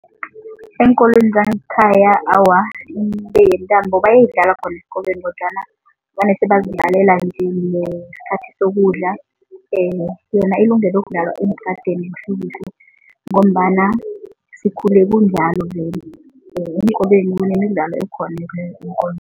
Eenkolweni zangekhaya awa yentambo bayayidlala khona esikolweni kodwana vane sebazidlalela nje ngesikhathi sokudla yona ilungele ukudlalwa eentradeni kuhlekuhle ngombana sikhule kunjalo vele, eenkolweni kunemidlalo ekhona